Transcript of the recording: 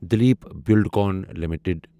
Dilip Buildcon limited